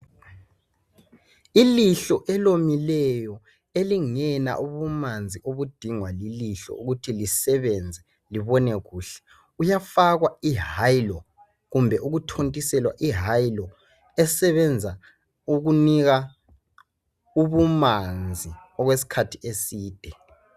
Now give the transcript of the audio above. Ilihlo elomileyo elingela ubumanzi obudingwa lilihlo ukuthi lisebenza libone kuhle uyafakwa ihylo kumbe ukuthotiselwa ihylo esebenza ukunika ubumanzi okwesikhathi eside.